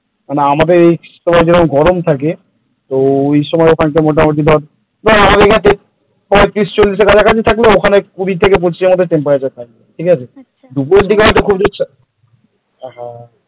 আমাদের এখানে যেমন গরম থাকে কি তো ওই সময় ওখানে মোটামুটি ধর আমাদের এখানে পইতিরিশ চল্লিশের এর কাছাকাছি থাকলেও ওখানে কুড়ি থেকে পঁচিশ এর মধ্যে temperature থাকে। ঠিক আছে দুপুরের দিকে হয়তো বেশি হয়